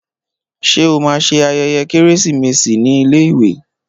Ṣé o máa ṣe ayẹyẹ Kérésìmesì ní iléèwé?